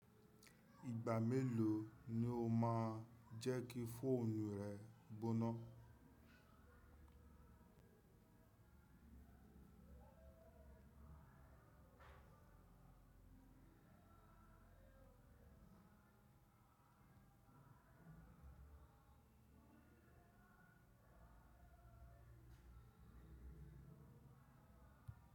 Ìgbà mélòó ni o máa ń jẹ́ kí fóònù rẹ gbóná?